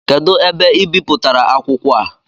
Kedụ ebe ị bipụtara akwụkwọ a?